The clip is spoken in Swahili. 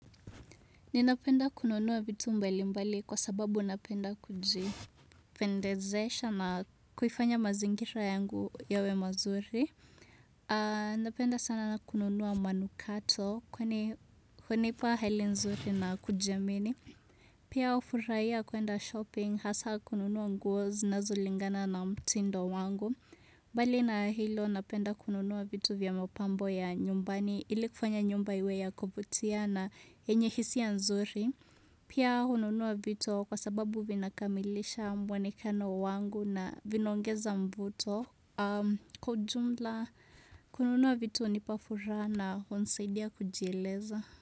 Ninapenda kununua vitu mbali mbali kwa sababu napenda kujipendezesha na kuifanya mazingira yangu yawe mazuri. Napenda sana na kununuwa manukato kwani hunipa hali nzuri na kujiamini. Pia hufurahiya kuenda shopping hasa kununuwa nguo zinazolingana na mtindo wangu. Mbali na hilo napenda kununuwa vitu vya mapambo ya nyumbani ili kufanya nyumba iwe ya kuvutia na yenye hisia nzuri. Pia hununua vitu kwa sababu vinakamilisha muenekano wangu na vinaongeza mvuto. Kwa ujumla, kununua vitu hunipa furaha hunisaidia kujieleza.